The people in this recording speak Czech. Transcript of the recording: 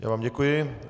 Já vám děkuji.